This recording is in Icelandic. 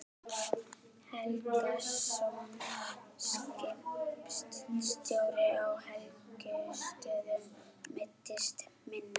Helgason, skipstjóri á Helgustöðum, meiddist minna.